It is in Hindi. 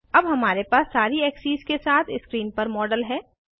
अब हमारे पास सारी एक्सीस के साथ स्क्रीन पर मॉडल है